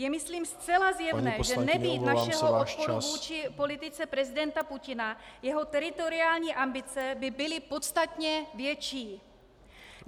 Je myslím zcela zjevné, že nebýt našeho odporu vůči politice prezidenta Putina , jeho teritoriální ambice by byly podstatně větší.